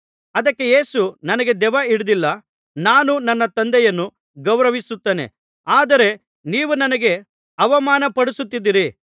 ಅದಕ್ಕೆ ಯೇಸು ನನಗೆ ದೆವ್ವ ಹಿಡಿದಿಲ್ಲ ನಾನು ನನ್ನ ತಂದೆಯನ್ನು ಗೌರವಿಸುತ್ತೇನೆ ಆದರೆ ನೀವು ನನಗೆ ಅವಮಾನಪಡಿಸುತ್ತೀದ್ದಿರಿ